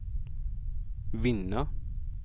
vinna